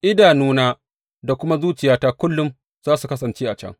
Idanuna da kuma zuciyata kullum za su kasance a can.